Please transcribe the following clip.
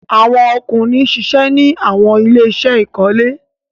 Awọn ọkunrin ṣiṣẹ ni awọn ile-iṣẹ ikole